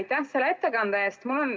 Tänan selle ettekande eest!